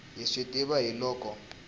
hi swi tiva hi loko